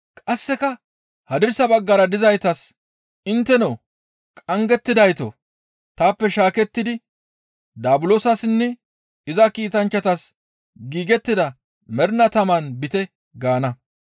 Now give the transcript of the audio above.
«Qasseka hadirsa baggara dizaytas, ‹Intteno qanggettidaytoo! Taappe shaakettidi Daabulosassinne iza kiitanchchatas giigettida mernaa taman biite gaana.